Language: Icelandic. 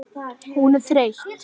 Hún er þreytt.